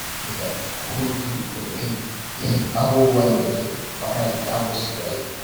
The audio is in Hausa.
Wasu mutane suna amfani da hutu domin yin abubuwan da ke faranta musu rai.